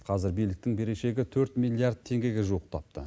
қазір биліктің берешегі төрт миллиард теңгеге жуықтапты